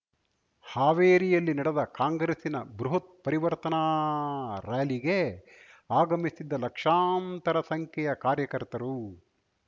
ಹಾವೇರಿಯಲ್ಲಿ ನಡೆದ ಕಾಂಗ್ರೆಸ್‍ನ ಬೃಹತ್ ಪರಿವರ್ತನಾ ರ್ಯಾಲಿಗೆ ಆಗಮಿಸಿದ್ದ ಲಕ್ಷಾಂತರ ಸಂಖ್ಯೆಯ ಕಾರ್ಯಕರ್ತರು